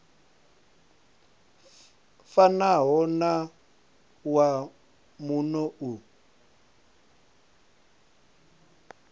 fanaho na wa muno u